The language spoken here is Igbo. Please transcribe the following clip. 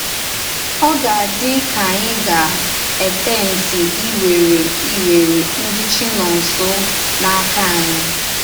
Ò gà-àdí ka ànyì gà-ètempti íwere íwere ndí Chínónsọ̀ n’áka ànyì?